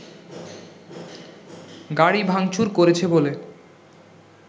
গাড়ি ভাংচুর করেছে বলে